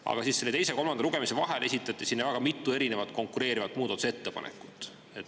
Aga teise ja kolmanda lugemise vahel esitati mitu konkureerivat muudatusettepanekut.